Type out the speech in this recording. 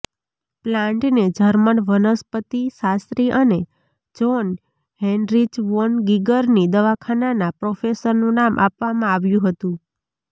પ્લાન્ટને જર્મન વનસ્પતિશાસ્ત્રી અને જ્હોન હેનરિચ વોન ગીગરની દવાખાનાના પ્રોફેસરનું નામ આપવામાં આવ્યું હતું